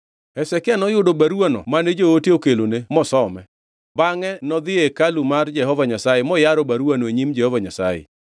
Hezekia noyudo baruwano mane joote okelone mosome. Bangʼe nodhi e hekalu mar Jehova Nyasaye moyaro baruwano e nyim Jehova Nyasaye.